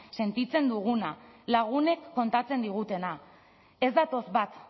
sentitzen duguna lagunek kontatzen digutena ez datoz bat